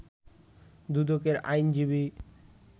দুদকের আইনজীবী